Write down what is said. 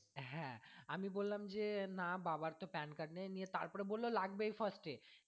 হ্যাঁ আমি বললাম যে না বাবার তো PAN card নেই নিয়ে তারপরে বললো লাগবেই first এ,